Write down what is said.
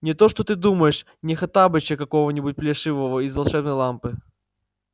не то что ты думаешь не хоттабыча какого-нибудь плешивого из волшебной лампы